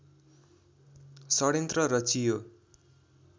षड्यन्त्र रचियो